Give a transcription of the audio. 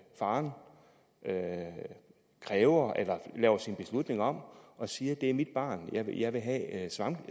faren laver sin beslutning om og siger det er mit barn jeg vil jeg vil have